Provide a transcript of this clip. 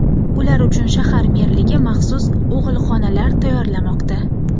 Ular uchun shahar merligi maxsus og‘ilxonalar tayyorlamoqda.